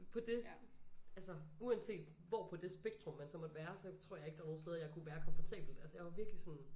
På det altså uanset hvor på det spektrum man så måtte være så tror jeg ikke der er nogle steder jeg kunne være komfortabelt altså jeg var virkelig sådan